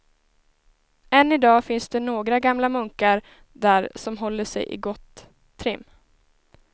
Än i dag finns det några gamla munkar där som håller sig i gott trim.